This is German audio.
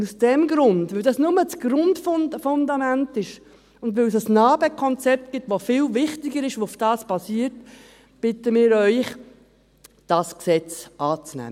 Und aus diesem Grund, weil das nur das Grundfundament ist, und weil es ein NA-BE-Konzept gibt, das viel wichtiger ist, das auf dem basiert, bitten wir Sie, dieses Gesetz anzunehmen.